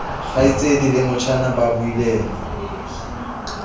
kgaitsedi le motjhana ba buileng